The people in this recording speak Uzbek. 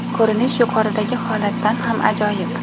Ko‘rinish yuqoridagi holatdan ham ajoyib.